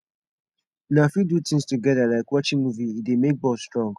una fit do things together like watching movie e dey make bond strong